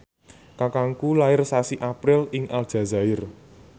kakangku lair sasi April ing Aljazair